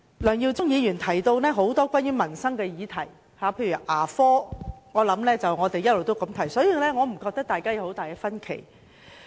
梁耀忠議員發言時提及多項民生議題，例如牙科，這也是我們一直關注的問題，所以我認為大家沒有很大分歧。